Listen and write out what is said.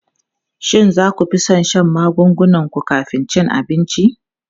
Shin za ku fi son shan magungunan ku kafin cin abinci?